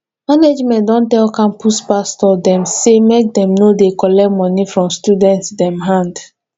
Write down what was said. management don tell campus pastor dem sey make dem no dey collect moni from student dem hand